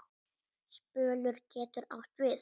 Spölur getur átt við